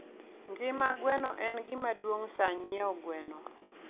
Gima gweno en gima duong' saa nyieo gweno.